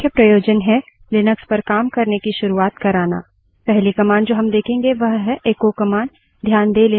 इस अभ्यास का मुख्य प्रयोजन है लिनक्स पर काम करने की शुरुआत कराना